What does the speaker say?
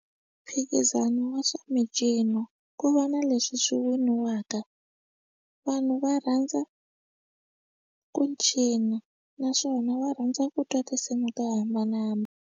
Mphikizano wa swa mincino ku va na leswi swi winiwaka, vanhu va rhandza ku cina naswona va rhandza ku twa tinsimu to hambanahambana.